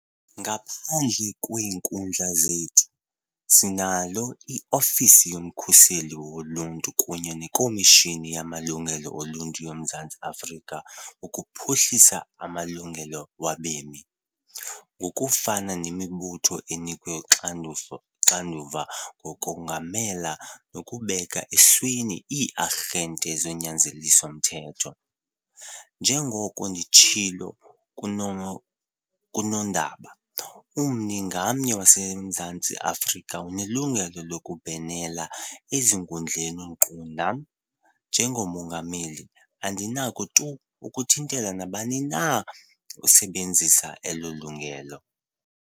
Ngaphandle kweenkundla zethu, sinalo i-Ofisi yoMkhuseli WoLuntu kunye neKomishini yamaLungelo oLuntu yoMzantsi Afrika ukuphuhlisa amalungelo wabemi, ngokufanayo nemibutho enikwe uxanduva lokongamela nokubeka esweni ii-arhente zonyanzeliso mthetho. Njengoko nditshilo kunondaba, ummi ngamnye waseMzantsi Afrika unelungelo lokubhenela ezinkundleni nkqu nam, njengoMongameli, andinako tu ukuthintela nabani na osebenzisa elo lungelo.